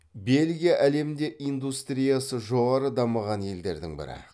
бельгия әлемде индустриясы жоғары дамыған елдердің бірі